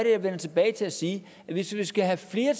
jeg vender tilbage til at sige at hvis vi skal have flere